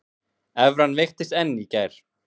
Evran veiktist enn í gær